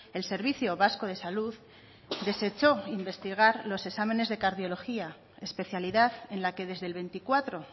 el servicio vasco de salud desecho investigar los exámenes de cardiológica especialidad en la que desde el veinticuatro